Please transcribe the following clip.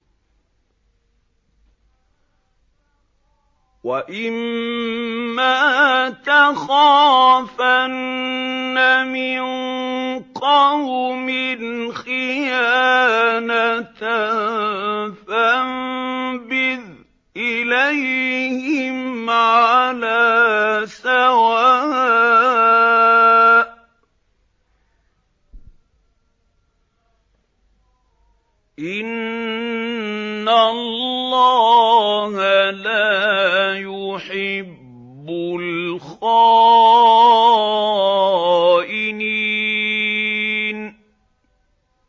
وَإِمَّا تَخَافَنَّ مِن قَوْمٍ خِيَانَةً فَانبِذْ إِلَيْهِمْ عَلَىٰ سَوَاءٍ ۚ إِنَّ اللَّهَ لَا يُحِبُّ الْخَائِنِينَ